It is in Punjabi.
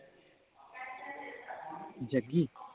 ਜੱਗੀ